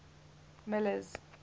miller's